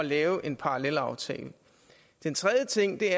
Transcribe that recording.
at lave en parallelaftale den tredje ting er